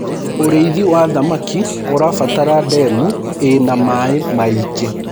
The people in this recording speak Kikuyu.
ũrĩithi wa thamakĩ ũrabatara ndemu ina maĩ maĩngi